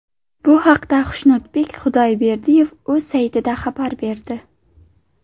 Bu haqda Xushnudbek Xudayberdiyev o‘z saytida xabar berdi .